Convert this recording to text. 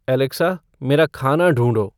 Alexa मेरा खाना ढूँढो